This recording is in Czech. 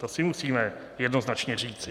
To si musíme jednoznačně říci.